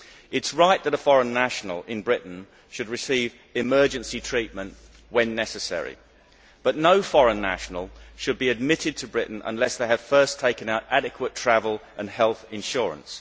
It is right that a foreign national in Britain should receive emergency treatment when necessary, but no foreign nationals should be admitted to Britain unless they have first taken out adequate travel and health insurance.